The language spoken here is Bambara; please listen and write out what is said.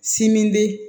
Sim be